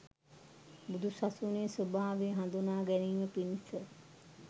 බුදු සසුනේ ස්වභාවය හඳුනාගැනීම පිණිස